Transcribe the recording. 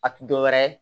A ti dɔwɛrɛ ye